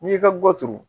N'i y'i ka gɔturu